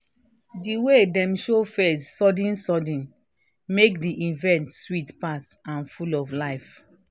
di way dem show face sudden-sudden make di event sweet pass and full of life